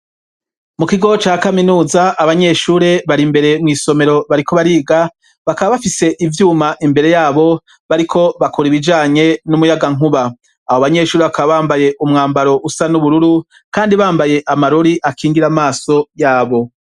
mu kigo cya kaminuza abanyeshure bari mbere mw'isomero bariko bariga bakaba bafise ivyuma imbere yabo bariko bakora ibijanye n'umuyagankuba abo abanyeshuri bakaba bambaye umwambaro usa n'ubururu kandi bambaye amarori akingira amaso yabo.